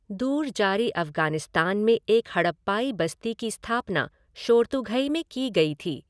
दूर जारी अफ़गानिस्तान में एक हड़प्पाई बस्ती की स्थापना शोरतुघई में की गई थी।